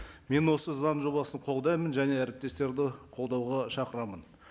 мен осы заң жобасын қолдаймын және әріптестерді қолдауға шақырамын